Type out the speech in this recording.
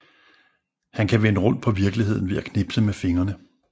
Han kan vende rundt på virkeligheden ved at knipse med fingrene